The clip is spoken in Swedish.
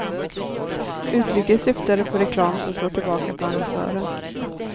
Uttrycket syftade på reklam som slår tillbaka på annonsören.